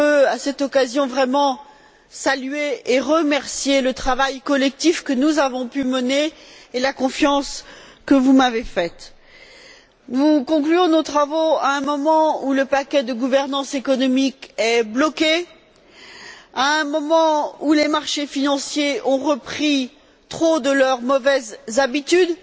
À cette occasion, je tiens vraiment à remercier les collègues et à saluer le travail collectif que nous avons pu mener et la confiance que vous m'avez accordée. Nous concluons nos travaux à un moment où le paquet de gouvernance économique est bloqué, à un moment où les marchés financiers ont repris trop de leurs mauvaises habitudes,